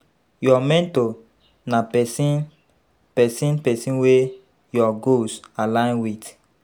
Your mentor na person person person wey your goals align with